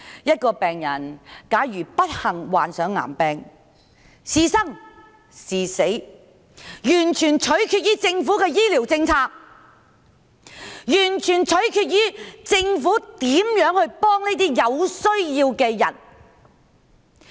一個人假如不幸患上癌病，是生是死完全取決於政府的醫療政策，完全取決於政府如何幫助他這個有需要的人。